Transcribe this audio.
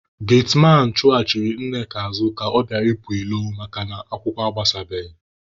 Getmanụ chụghachiri Nneka azụ ka ọ bịara ịpụ ilo makana akwụkwọ agbasabeghị